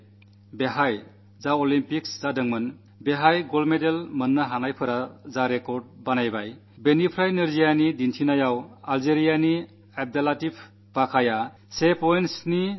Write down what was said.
1500 metre ഓട്ടത്തിൽ Olympics മത്സരത്തിൽ സ്ഥാപിച്ച റെക്കാഡ് ദിവ്യാംഗരുടെ മത്സരത്തിൽ അള്ജീരിയയുടെ അബ്ദല്ലത്തീഫ് ബകാ 1